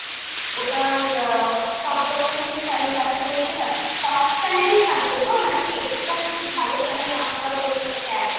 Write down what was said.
ওটার আ সব রকমেরই channel আছে বলছেন আছে। সব channel ই থাকবে তো নাকি extra কিছু ভালো channel আমাকে আবার ওর সাথে add করতে হবে?